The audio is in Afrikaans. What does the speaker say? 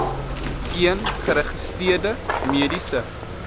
een geregistreerde mediese